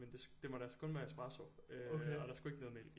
Men det måtte altså kun være espresso og der skulle ikke noget mælk i